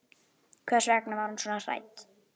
Hvers vegna var hún svona hrædd?